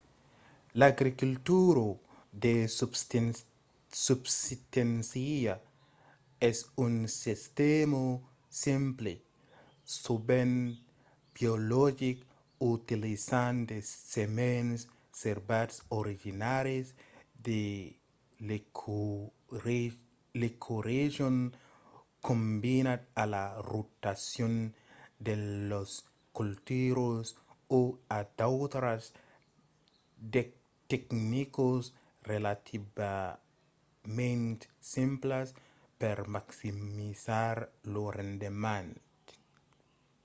l'agricultura de subsisténcia es un sistèma simple sovent biologic utilizant de semens servats originaris de l'ecoregion combinat a la rotacion de las culturas o a d'autras tecnicas relativament simplas per maximizar lo rendement